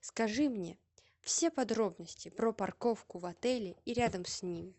скажи мне все подробности про парковку в отеле и рядом с ним